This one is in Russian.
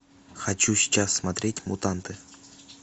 хочу сейчас смотреть мутанты